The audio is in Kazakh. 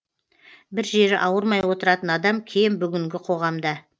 бір жері ауырмай отыратын адам кем бүгінгі қоғамда